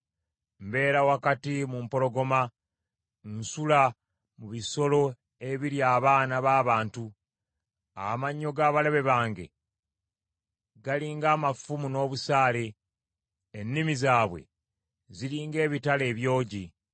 Mbeera wakati mu mpologoma, nsula mu bisolo ebirya abaana b’abantu. Amannyo g’abalabe bange gali ng’amafumu n’obusaale. Ennimi zaabwe ziri ng’ebitala ebyogi.